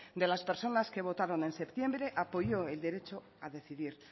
de las personas que votaron en septiembre apoyó el derecho a decidir